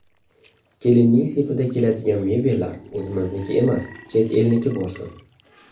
Kelinning sepida keladigan mebellar o‘zimizniki emas, chet elniki bo‘lsin.